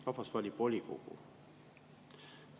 Rahvas valib volikogu.